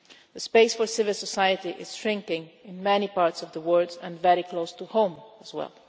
The space for civil society is shrinking in many parts of the world and very close to home as well.